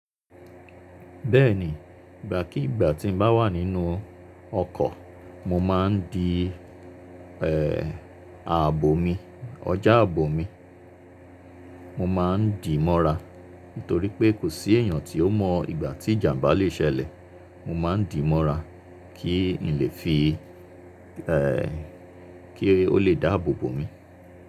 Bẹ́ẹ̀ni, ìgbà kí ìgbà tí n bá wà nínú ọkọ̀, mo máa ń di ààbò mi, ọjà àbò mi. Mo ma ń dì mọ́ra, nítorí pé kò sí èèyàn tí ó mọ̀ ìgbà tí ìjàmbá lè ṣẹlẹ̀. Mo ma ń dì mọ́ra kí n lè fi kí ó lè dáàbò bo mi.